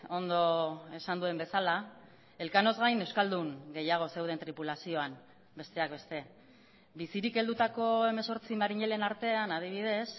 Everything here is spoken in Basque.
ondo esan duen bezala elkanoz gain euskaldun gehiago zeuden tripulazioan besteak beste bizirik heldutako hemezortzi marinelen artean adibidez